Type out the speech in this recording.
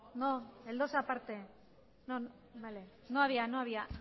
no el dos aparte no había no había